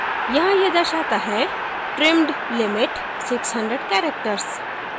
यहाँ यह दर्शाता है trimmed limit: 600 characters